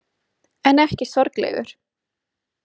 En ekki sorglegur.